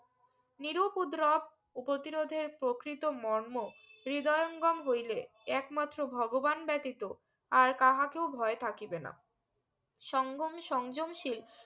নিরু পদ্রব ও প্রতিরোধের প্রকৃত মর্মও হ্রিদগাম হইলে একমাত্র ভগবান ব্যতিত আর কাহাকেও ভয় থাকিবে না সঙ্গোম সংযম শীল